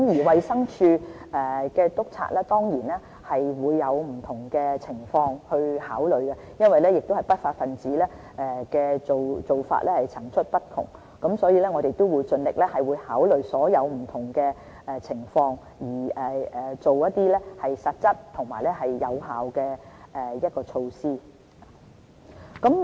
衞生署督察當然會考慮不同情況，但不法分子的手法層出不窮，所以，我們會盡力考慮所有不同情況，訂定實質而有效的措施。